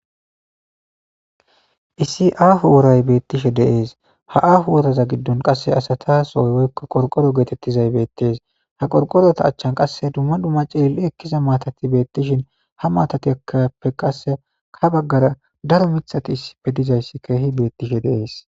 Issi aaho woray beetishe dees ha aaho woraza giddon qasse asatasoy woykko qorqoro geetetizay bettees ha qorqorota achchan qasse dumma dumma cilili ekkiza maatati beetishe ha maatatappe qasse ha baggara daro miththati issipe dizayssi keehi beetishe dees.